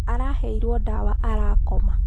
Araheirwo ndawa arakoma.